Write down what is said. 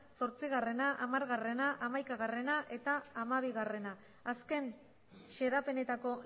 zortzia hamara hamaikagarrena eta hamabia azken xedapenetako